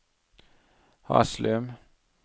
Haslum